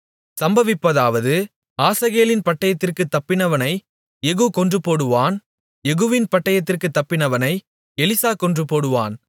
சம்பவிப்பதாவது ஆசகேலின் பட்டயத்திற்குத் தப்பினவனை யெகூ கொன்றுபோடுவான் யெகூவின் பட்டயத்திற்குத் தப்பினவனை எலிசா கொன்றுபோடுவான்